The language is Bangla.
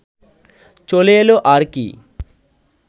চলে এলো আর কি